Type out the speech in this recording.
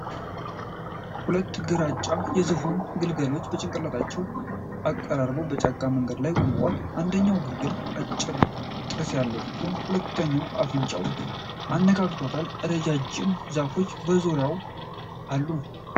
ሁለት ግራጫ የዝሆን ግልገሎች ጭንቅላታቸውን አቀራርበው በጫካ መንገድ ላይ ቆመዋል። አንደኛው ግልገል አጭር ጥርስ አለው ሲሆን፤ ሁለቱም አፈንጫቸውን አነካክተዋል። ረዣዥም ዛፎች በዙሪያው አሉ።